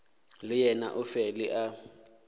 le yena o fele a